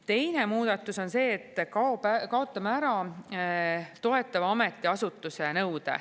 Teine muudatus on see, et kaotame ära toetava ametiasutuse nõude.